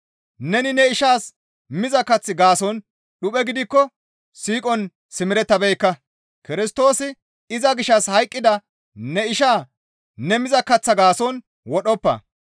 Neni ne ishaas miza kaththa gaason dhuphe gidikko siiqon simerettabeekka; Kirstoosi iza gishshas hayqqida ne ishaa ne miza kaththa gaason wodhoppa.